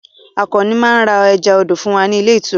Àkànó máá ń ra ẹja odò fún wa ní ilé ìtura